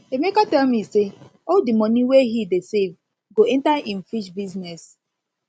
emeka tell me say all the money wey he dey save go enter im fish business